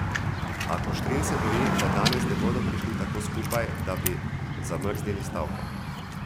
A Kuštrin se boji, da danes ne bodo prišli tako skupaj, da bi zamrznili stavko.